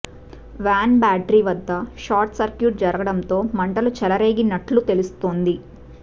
van battery వద్ద short circuit జరగడంతో మంటలు చెలరేగినట్లు తెలుస్తోంది